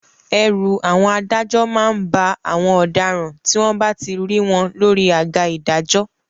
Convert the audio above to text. Ẹ̀rù àwọn adájọ́ má ń ba àwọn ọ̀daràn tí wọ́n bá ti rí wọ́n lórí àga ìdájọ́